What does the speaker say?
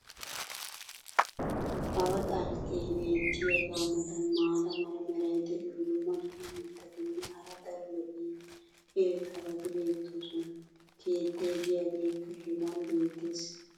awaa xalqqee beetiyaagaa matan maata mala meray diyo dumma dumma mitatinne hara daro lo'iya irxxabati beettoosona. keettay diyaageekka hegan beettees.